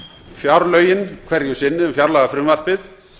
fjárlögin hverju sinni um fjárlagafrumvarpið